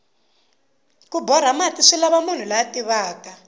ku borha mati swilava munhu la tivaka